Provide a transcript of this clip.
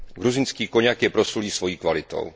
Gruzínský koňak je proslulý svojí kvalitou.